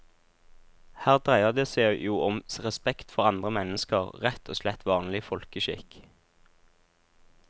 Her dreier det seg jo om respekt for andre mennesker, rett og slett vanlig folkeskikk.